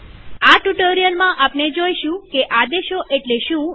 આ ટ્યુ્ટોરીઅલમાંઆપણે જોઈશું કે આદેશો એટલે શું